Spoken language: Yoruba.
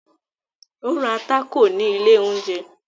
Ó ra tákò ni ilẹ̀ oúnjẹ